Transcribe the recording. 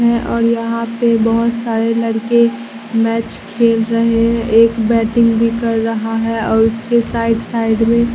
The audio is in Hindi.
मैं और यहां पे बहोत सारे लड़के मैच खेल रहे एक बैटिंग भी कर रहा है और उसके साइड साइड में--